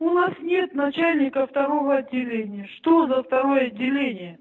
у нас нет начальника второго отделения что за второе отделение